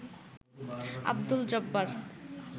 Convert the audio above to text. Abdul Jabbar